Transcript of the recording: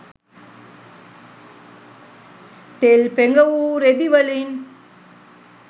තෙල් පෙඟවූ රෙදි වලින්